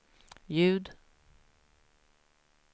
ljud